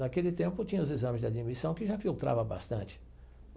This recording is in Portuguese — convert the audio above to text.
Naquele tempo, tinha os exames de admissão que já filtrava bastante.